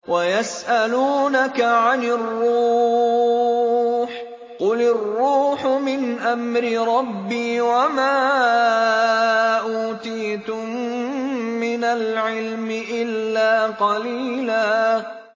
وَيَسْأَلُونَكَ عَنِ الرُّوحِ ۖ قُلِ الرُّوحُ مِنْ أَمْرِ رَبِّي وَمَا أُوتِيتُم مِّنَ الْعِلْمِ إِلَّا قَلِيلًا